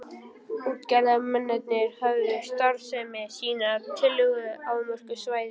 Útgerðarmennirnir höfðu starfsemi sína á tiltölulega afmörkuðu svæði.